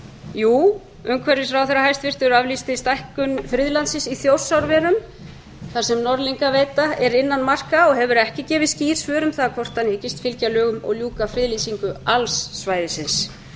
jú umhverfisráðherra hæstvirtur aflýsti stækkun friðlandsins í þjórsárverum þar sem norðlingaveita er innan marka og hefur ekki gefið skýr svör um það hvort hann hyggist fylgja lögum og ljúka friðlýsingu alls svæðisins